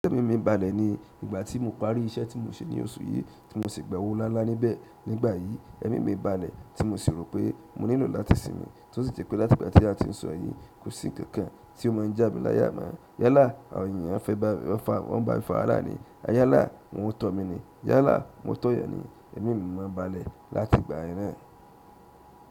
Ẹ̀mí mi balẹ̀ ni ìgbà tí mo parí iṣẹ́ tí mo ṣe ní oṣù yìí tí mo sì gba owó ńláńlá níbẹ̀ nígbà yìí, ẹ̀mí mi balẹ̀ tí mo sì rò pé mo nílò láti sinmi. Ó sì jẹ pé láti ìgbà tí a ti ń sọ èyí, kò sí nǹkan tí ó máa ń jà mí láyà mọ́. Yálà, àwọn ènìyàn fẹ́ bá mi, wọ́n ń bá mi fá wàhálà ní, a yálà wọ́n tọ̀ mí ni, yálà wọ́n tọ̀ yàn ni, ẹ̀mí mi máa n balẹ̀ láti ìgbà yẹn náà.